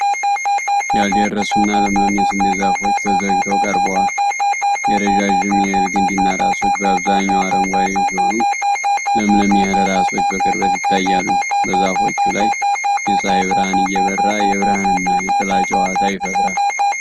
ያልደረሱና ለምለም የስንዴ ዛፎች ተዘግተው ቀርበዋል። የረዣዥም የእህል ግንድና ራሶች በአብዛኛው አረንጓዴ ሲሆኑ፣ ለምለም የእህል ራሶች በቅርበት ይታያሉ። በዛፎቹ ላይ የፀሐይ ብርሃን እየበራ የብርሃንና የጥላ ጨዋታ ይፈጥራል።